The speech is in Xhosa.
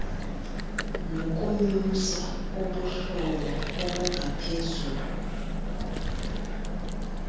nokunyusa ubuhlobo obungaphezulu